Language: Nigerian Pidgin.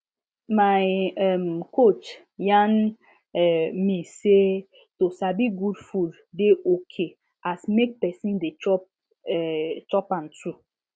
my um coach yarn um me say to sabi good food dey okay as make person dey chop um am too